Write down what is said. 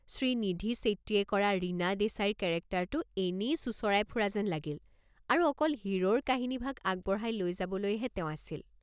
শ্ৰীনিধি শ্বেট্টীয়ে কৰা ৰীনা দেশাইৰ কেৰেক্টাৰটো এনেই চোঁচৰাই ফুৰা যেন লাগিল আৰু অকল হিৰোৰ কাহিনীভাগ আগবঢ়াই লৈ যাবলৈ হে তেওঁ আছিল।